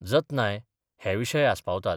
जतनाय हे विशय आसपावतात.